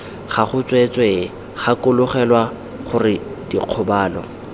gago tsweetswee gakologelwa gore dikgobalo